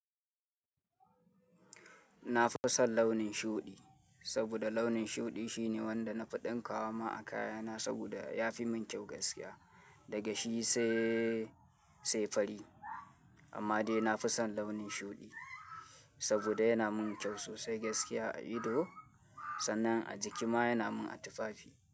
Na fi son launin shuɗi, saboda launin shuɗi shine wanda na fi ɗinka wa ma a kayana, saboda ya fi mun kyau gaskiya daga shi sai, sai fari. Amma dai na fi son launin shuɗi saboda yana mun kyau sosai gaskiya a ido sannan a jiki ma yana mun a tufafi.